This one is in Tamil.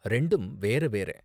ரெண்டும் வேற வேற.